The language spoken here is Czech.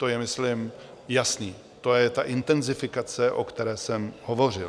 To je myslím jasné, to je ta intenzifikace, o které jsem hovořil.